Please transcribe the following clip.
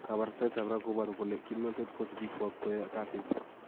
"Kabarastaetab ra koboru kole kimnotet kosibikwak koyoe kasiit"